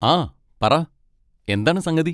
ആ, പറ, എന്താണ് സംഗതി?